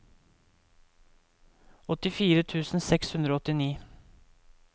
åttifire tusen seks hundre og åttini